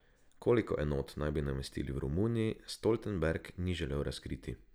Koliko enot naj bi namestili v Romuniji, Stoltenberg ni želel razkriti.